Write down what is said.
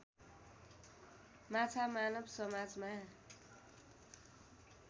माछा मानव समाजमा